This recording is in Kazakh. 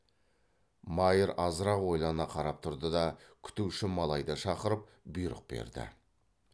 майыр азырақ ойлана қарап тұрды да күтуші малайды шақырып бұйрық берді